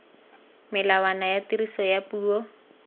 melawana ya tiriso ya puo